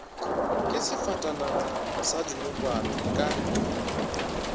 ke sefatanaga sa dinokwane ka